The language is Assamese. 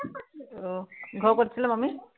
আহ ঘৰ কত আছিলে মামীৰ?